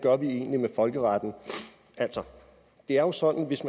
vi egentlig gør med folkeretten altså det er jo sådan at hvis